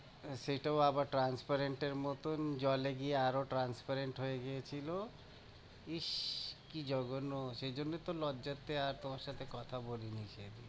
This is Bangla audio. আহ সেইটাও আবার transparent এর মতন জলে গিয়ে আরও transparent হয়ে গিয়েছিলো, ইস, কি জঘন্য, সেজন্যে তো লজ্জাতে আর তোমার সাথে কথা বলিনি সেইদিন।